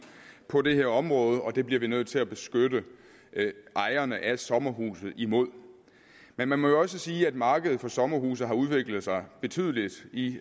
på det her område og det bliver vi nødt til at beskytte ejerne af sommerhuse imod men man må jo også sige at markedet for sommerhuse har udviklet sig betydeligt i